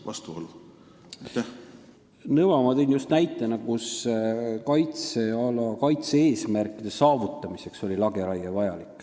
Nõva tõin ma just sellise näitena, kus lageraie oli vajalik kaitseala kaitse-eesmärkide saavutamiseks.